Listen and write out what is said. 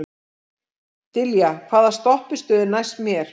Dilja, hvaða stoppistöð er næst mér?